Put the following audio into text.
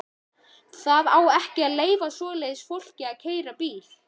Það á ekki að leyfa svoleiðis fólki að keyra bíl!